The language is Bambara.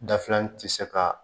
Dafilani tɛ se ka